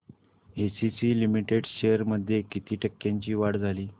ACC limited shares मध्ये किती टक्क्यांची वाढ झाली